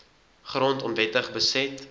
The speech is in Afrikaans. grond onwettig beset